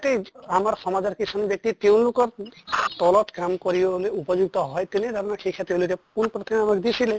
তেজ আমাৰ সমাজৰ কিছুমান ব্য়ক্তি তেওঁলোকৰ তলত কাম কৰিবলৈ উপযুক্ত হয় তেনে ধৰণৰ শিক্ষা তেওঁলোকে পোন প্ৰথমে আমাক দিছিলে